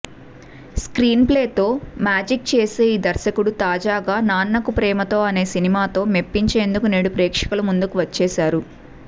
స్క్రీన్ప్లేతో magic చేసే ఈ దర్శకుడు తాజాగా నాన్నకు ప్రేమతో అనే సినిమాతో మెప్పించేందుకు నేడు ప్రేక్షకుల ముందుకు వచ్చేశారు